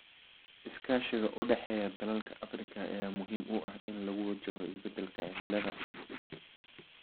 Iskaashiga u dhexeeya dalalka Afrika ayaa muhiim u ah in lagu wajaho isbedelka cimilada.